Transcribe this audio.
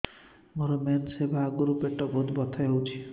ମୋର ମେନ୍ସେସ ହବା ଆଗରୁ ପେଟ ବହୁତ ବଥା ହଉଚି